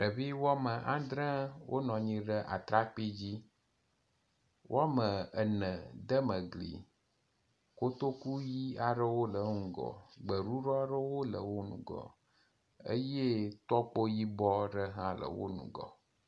Ɖevi wɔme andre wonɔ anyi ɖe atrakpui dzi. Wɔme ene de me gli. Kotoku ʋi aɖewo le wo ŋgɔ. Gbeɖuɖɔ aɖewo le wo ŋgɔ eye tɔkpo yibɔ aɖe hã le wo ŋgɔ.